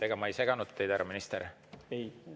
Ega ma ei seganud teid, härra minister?